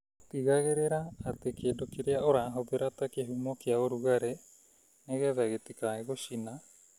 Tigagĩrĩra atĩ kĩndũ kĩrĩa ũrahũthĩra ta kĩhumo kĩa ũrugarĩ, nĩgetha gĩtikae gũcina